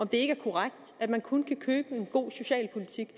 det ikke er korrekt at man kun kan købe en god socialpolitik